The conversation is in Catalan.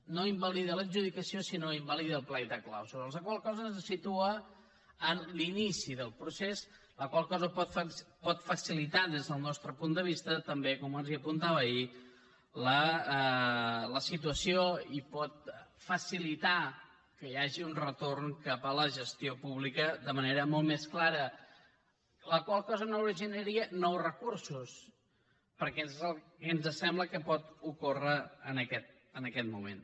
no invalida l’adjudicació sinó que invalida el plec de clàusules la qual cosa ens situa en l’inici del procés la qual cosa pot facilitar des del nostre punt de vista també com els apuntava ahir la situació i pot facilitar que hi hagi un retorn cap a la gestió pública de manera molt més clara la qual cosa no originaria nous recursos que és el que ens sembla que pot ocórrer en aquest moment